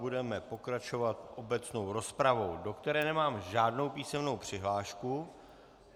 Budeme pokračovat obecnou rozpravou, do které nemám žádnou písemnou přihlášku.